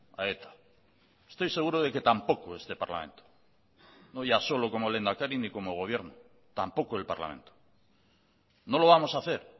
a eta estoy seguro de que tampoco este parlamento no ya solo como lehendakari ni como gobierno tampoco el parlamento no lo vamos a hacer